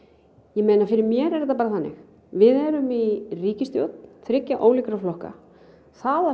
ég meina fyrir mér er þetta bara þannig við erum í ríkisstjórn þriggja ólíkra flokka það að